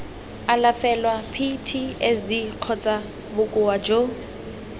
alafelwa ptsd kgotsa bokoa jo